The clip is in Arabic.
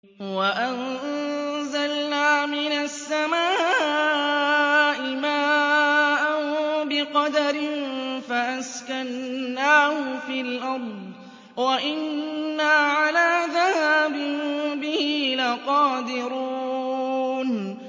وَأَنزَلْنَا مِنَ السَّمَاءِ مَاءً بِقَدَرٍ فَأَسْكَنَّاهُ فِي الْأَرْضِ ۖ وَإِنَّا عَلَىٰ ذَهَابٍ بِهِ لَقَادِرُونَ